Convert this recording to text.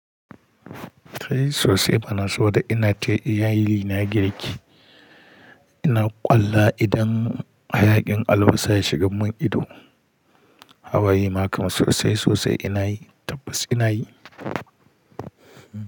Kai sosai banaso da ina ke iyalina girk, ina ƙwalla idan hayaƙin albasa ya shiga mun ido. Hawaye makam sosai sosai inayi tabbas inayi.